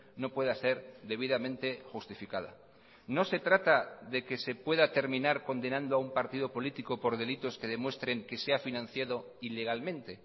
no pueda ser debidamente justificada no se trata de que se pueda terminar condenando a un partido político por delitos que demuestren que se ha financiado ilegalmente